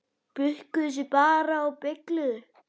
Bukkuðu sig bara og beygðu!